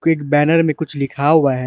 एक बैनर में कुछ लिखा हुआ है।